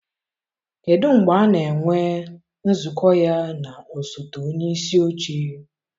kedụ mgbe a na-enwe nzukọ ya na osote onyeisi oche?